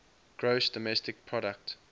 gross domestic product